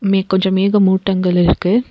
மே கொஞ்ச மேக மூட்டங்கள் இருக்கு.